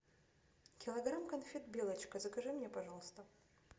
килограмм конфет белочка закажи мне пожалуйста